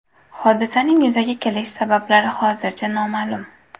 Hodisaning yuzaga kelish sabablari hozircha noma’lum.